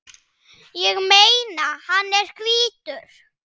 Ég meina, hann er hvítur!